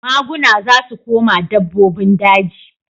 Maguna za su koma dabbobin daji.